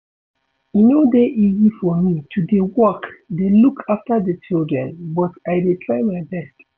E no dey easy for me to dey work dey look after the children but I dey try my best